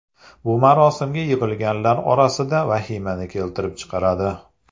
Bu marosimga yig‘ilganlar orasida vahimani keltirib chiqaradi.